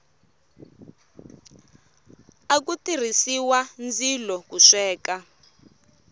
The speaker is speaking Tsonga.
aku tirhisiwa ndzilo ku sweka